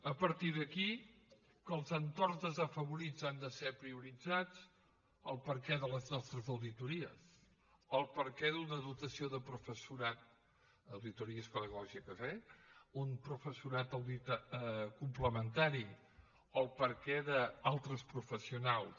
a partir d’aquí que els entorns desafavorits han de ser prioritzats el perquè de les nostres auditories el perquè d’una dotació de professorat auditories pedagògiques eh un professorat complementari el perquè d’altres professionals